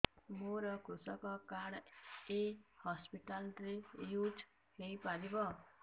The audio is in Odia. ମୋର କୃଷକ କାର୍ଡ ଏ ହସପିଟାଲ ରେ ୟୁଜ଼ ହୋଇପାରିବ